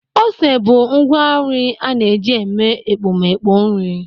Ose bụ ngwa nri a na-eji eme ekpomeekpo nri.